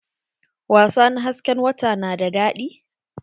Wasa na hasken wata na da daɗi?